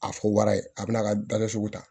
A fɔ wara ye a bɛ na a ka da sugu ta